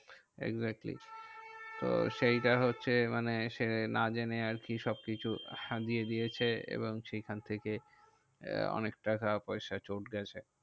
Exactly তো সেইটা হচ্ছে মানে সে না জেনে আরকি সবকিছু হারিয়ে দিয়েছে এবং সেইখান থেকে অনেক টাকা পয়সা চোট গেছে।